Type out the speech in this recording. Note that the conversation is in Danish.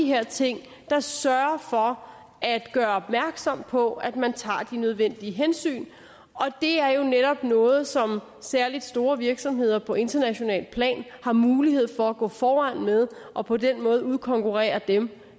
her ting der sørger for at gøre opmærksom på at man tager de nødvendige hensyn og det er jo netop noget som særligt store virksomheder på internationalt plan har mulighed for at gå foran med og på den måde udkonkurrere dem